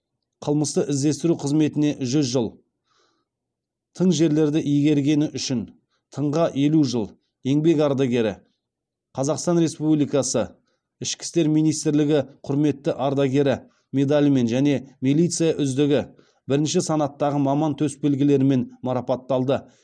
қылмысты іздестіру қызметіне жүз жыл тың жерлерді игергені үшін тыңға елу жыл еңбек ардагері қазақстан республикасы ішкі істер министрлігі құрметті ардагері медалімен және милиция үздігі бірінші санаттағы маман төсбелгілерімен марапатталды